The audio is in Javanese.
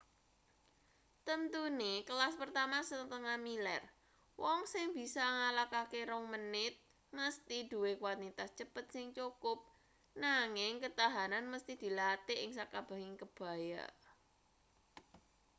temtune kelas pertama setengah-miler wong sing bisa ngalahake rong menit mesthi duwe kwantitas cepet sing cukup nanging ketahanan mesthi dilatih ing sakabehing bebaya